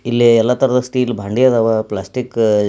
ಇಲ್ಲಿ ಎಲ್ಲ ತರಹದ ಸ್ಟೀಲ್ ಬಾಂಡಿ ಅದವ್. ಪ್ಲಾಸ್ಟಿಕ್ -